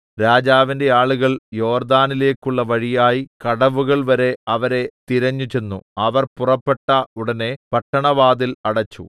രാജാവിന്റെ ആളുകൾ യോർദ്ദാനിലേക്കുള്ള വഴിയായി കടവുകൾ വരെ അവരെ തിരഞ്ഞുചെന്നു അവർ പുറപ്പെട്ട ഉടനെ പട്ടണവാതിൽ അടച്ചു